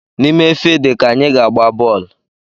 N’ime fidi ka anyị ga-agba bọọlụ